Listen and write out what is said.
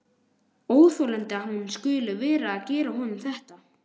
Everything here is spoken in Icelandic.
Óþolandi að hún skuli vera að gera honum þetta!